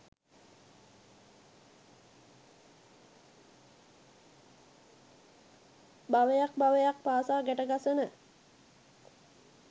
භවයක් භවයක් පාසා ගැටගසන